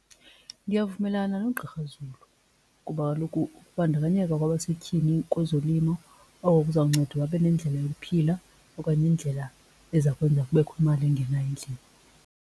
Ndiyavumelana noGqr Zulu kuba kaloku ukubandakanyeka kwabasetyhini kwezolimo oko kuzawunceda babe nendlela yokuphila okanye indlela eza kwenzeka kubekho imali engenayo endlini.